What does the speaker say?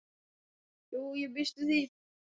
Jú, ég býst við því.